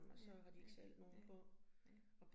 Ja ja ja ja